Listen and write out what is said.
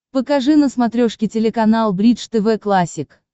покажи на смотрешке телеканал бридж тв классик